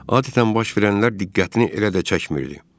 Adətən baş verənlər diqqətini elə də çəkmirdi.